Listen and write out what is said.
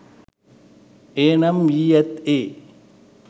එය නම් වී ඇත්තේ